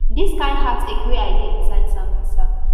dis kain heartache wen i dey inside sambisa